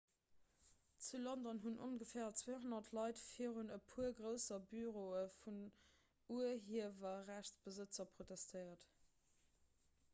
zu london hunn ongeféier 200 leit virun e puer grousse büroe vun urhiewerrechtsbesëtzer protestéiert